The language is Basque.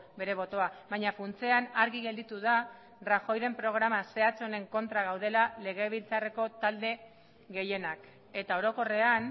bere botoa baina funtsean argi gelditu da rajoyren programa zehatz honen kontra gaudela legebiltzarreko talde gehienak eta orokorrean